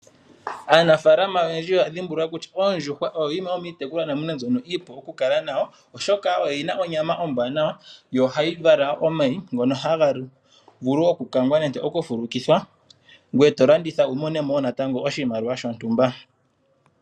Aanafaalama oyendji oya dhimbulula kutya oondjuhwa oyo yimwe dhomiitekulwanamwenyo mbyono iipu okukala nayo, oshoka oyi na onyama ombwaanawa, yo ohayi vala omayi ngono haga vulu okukangwa nenge okufulukithwa, ngweye to landitha wu mone mo wo natango oshimaliwa shontumba.